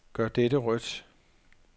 Gør dette rødt.